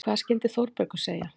Hvað skyldi Þórbergur segja?